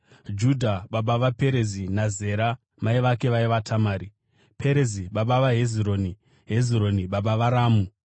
Judha baba vaPerezi naZera, mai vavo vaiva Tamari, Perezi baba vaHezironi, Hezironi baba vaRamu,